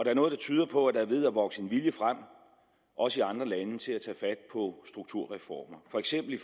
er noget der tyder på at der er ved at vokse en vilje frem også i andre lande til at tage fat på strukturreformer for eksempel i